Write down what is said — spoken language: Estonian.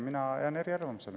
Mina jään eriarvamusele.